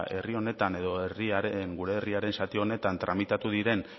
herri honetan edo gure herriaren zati honetan tramitatu diren